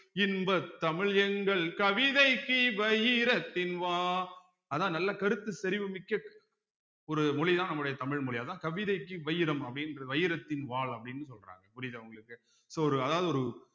இன்பத் தமிழ் எங்கள் கவிதைக்கு வைரத்தின் வா அதான் நல்ல கருத்து செறிவு மிக்க ஒரு மொழிதான் நம்முடைய தமிழ் மொழி அதான் கவிதைக்கு வைரம் அப்படின்ற வைரத்தின் வாள் அப்படின்னு சொல்றாங்க புரியுதா உங்களுக்கு so ஒரு அதாவது ஒரு